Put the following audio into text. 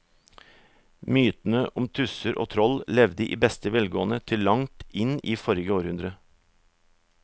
Mytene om tusser og troll levde i beste velgående til langt inn i forrige århundre.